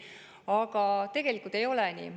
Aga tegelikult ei ole nii.